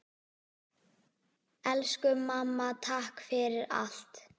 Elsku mamma, takk fyrir allt!